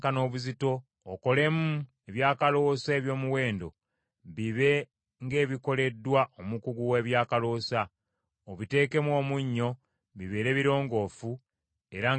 Okolemu ebyakaloosa eby’omuwendo, bibe ng’ebikoleddwa omukugu w’ebyakaloosa. Obiteekemu omunnyo bibeere birongoofu era nga bitukuvu.